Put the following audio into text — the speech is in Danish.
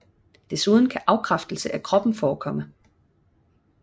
Desuden kan afkræftelse af kroppen forekomme